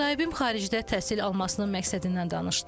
Müsahibim xaricdə təhsil almasının məqsədindən danışdı.